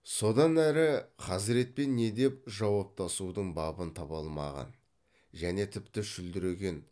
содан әрі хазіретпен не деп жауаптасудың бабын таба алмаған және тіпті шүлдіреген